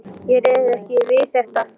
Ég réði bara ekki við þetta.